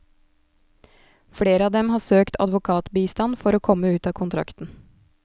Flere av dem har søkt advokatbistand for å komme ut av kontrakten.